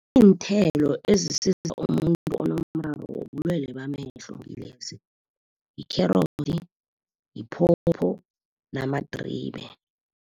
Iinthelo ezisiza umuntu onomraro wobulwele bamehlo ngilezi yikherotsi, yiphopho namadribe.